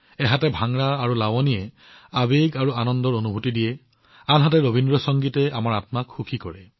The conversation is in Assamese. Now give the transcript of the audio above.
যদি ভাংৰা আৰু লাৱনীত উৎসাহ আৰু আনন্দৰ অনুভূতি থাকে ৰবীন্দ্ৰ সংগীতে আমাৰ আত্মাক তুলি ধৰে